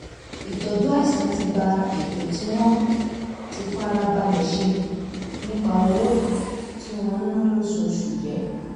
ìtọ́jú àìsàn ti ba ètò tí wọ́n ti fara balẹ̀ ṣe nípa owó tí wọ́n ń ná lóṣooṣù jẹ́